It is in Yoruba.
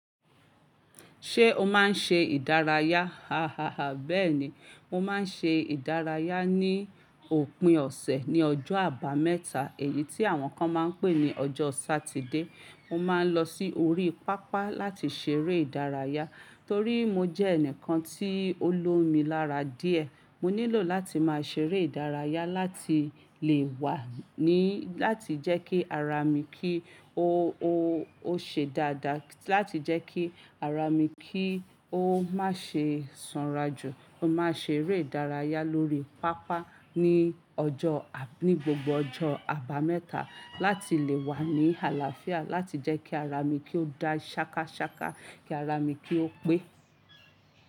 Ṣé o máa ń ṣe ìdárayá? Hahaha. Bẹ́ẹ̀ni, mo máa ń ṣe ìdárayá ní òpin ọ̀sẹ̀ ní ọjọ́ àbámẹ́ta, èyí tí àwọn kan máa ń pè ní ọjọ́ Sátidé. Mo máa ń lọ sí orí pápá láti ṣeré ìdárayá torí mo jẹ́ ẹnìkan tí ó lómi lára díẹ̀. Mo nílò láti máa ṣeré ìdárayá láti lè wà ní láti jẹ́ kí ara mi kí ó, ó, ó ṣe dáadáa láti jẹ́ kí ara mi kí ó má ṣe sanrajù. Mo máa ṣeré ìdárayá lórí pápá ní ọjọ́, ní gbogbo ọjọ́ àbámẹ́ta láti lè wà ní àlàáfíà láti jẹ́ kí ara mi kí ó da ṣákaṣáka, kí ara mi kí ó pé.